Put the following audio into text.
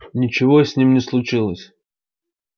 ничего с ними не случилось